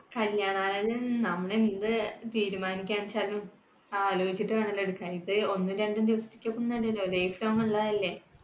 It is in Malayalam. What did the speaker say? കല്യാണാലോചന നമ്മൾ എന്ത് തീരുമാനിക്കാന്ന്ച്ചാലും, ആലോചിച്ചിട്ട് വേണല്ലോ എടുക്കാനെയിട്ട്. ഇത് ഒന്നോ രണ്ടോ ദിവസത്തേക്ക് ഒന്നുമല്ലല്ലോ. lifelong ഉള്ളതല്ലേ?